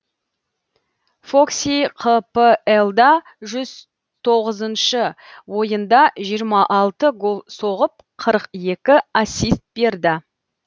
фокси қплда жүз тоғызыншы ойында жиырма алты гол соғып қырық екі ассист берді